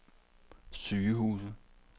sygehuse